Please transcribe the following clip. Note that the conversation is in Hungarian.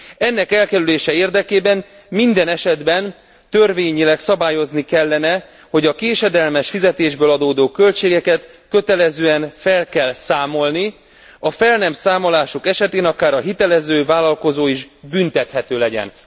Ennek elkerülése érdekében minden esetben törvényileg szabályozni kellene, hogy a késedelmes fizetésből adódó költségeket kötelezően fel kell számolni, a fel nem számolások esetén akár a hitelező vállalkozó is büntethető legyen.